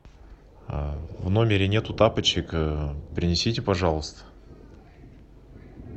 в номере нету тапочек принесите пожалуйста